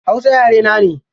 Hausa yare na ne.